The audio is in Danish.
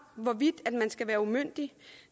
hvorvidt man skal være umyndig